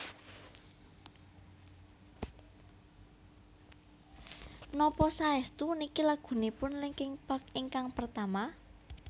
Napa saestu niki lagunipun Linkin Park ingkang pertama?